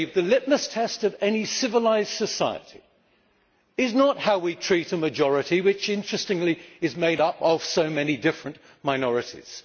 I believe the litmus test of any civilised society is not how we treat a majority, which, interestingly, is made up of so many different minorities.